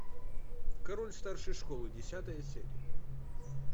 король старшей школы десятая серия